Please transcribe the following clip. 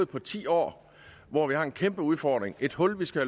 på ti år hvor vi har en kæmpe udfordring et hul vi skal